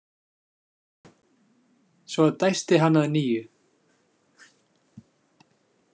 Svo dæsti hann að nýju.